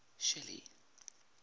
shelly